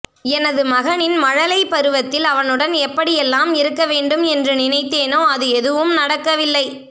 எனது மகனின் மழலை பருவத்தில் அவனுடன் எப்படியெல்லாம் இருக்க வேண்டும் என்று நினைத்தேனோ அது எதுவும் நடக்கவில்லை